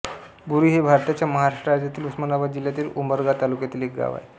बोरी हे भारताच्या महाराष्ट्र राज्यातील उस्मानाबाद जिल्ह्यातील उमरगा तालुक्यातील एक गाव आहे